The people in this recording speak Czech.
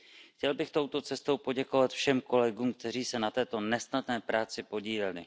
Chtěl bych touto cestou poděkovat všem kolegům, kteří se na této nesnadné práci podíleli.